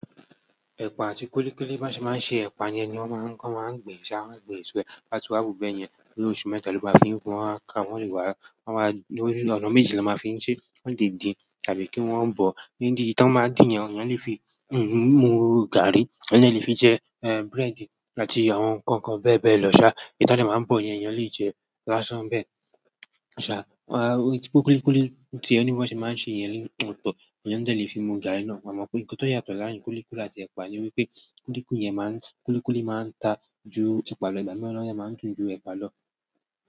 Ẹ̀pà àti kúlíkúlí bí wọ́n ṣe máa ń ṣe ẹ̀pà yẹn ni wọ́n máa ń gbìn sá, wọ́n máa ń gbìn eso e. To ba ti wá wu bẹ́ yẹn nii óṣù mẹ́ta ló bá fi pon won wá ka. Wọ́n le wá, wọ́n máa. Lọ́nà méjì ni wón máa n fín ṣe, wọn le din tàbí kí wọ́n bọ̀. Níbí èyí ti wọ́n máa n din yẹn, àwọn eyan lè fi mu gààrí, wọn de lè fi jẹ búrẹ́dì àti àwọn nǹkan bẹ́ẹ̀ bẹ́ẹ̀ lọ. Èyí tí wọ́n dè máa n bọ̀ yẹn eyan lè jẹ lásán bẹ́ẹ̀. Kúlíkúlí tíe ní bi wọ́n ṣe máa ń ṣe iyẹn ni otọ̀, eyan de lè fi mu gààrí náà. Amo ọ̀nà tí ó yàtọ̀ láàárín kúlíkúlí àti ẹ̀pà ni wípé kúlíkúlí yẹn máa ń ta ju ẹ̀pà lọ, ìgbà mìíràn ode máa ń dún ju ẹ̀pà lọ.